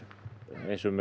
eins og með